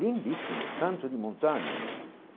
Lindíssimos, canto de montanhas.